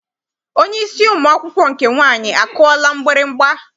Onye isi ụmụ akwụkwọ nke nwaanyị akụọla mgbịrịgba?